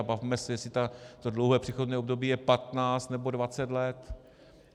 A bavme se, jestli to dlouhé přechodné období je 15 nebo 20 let.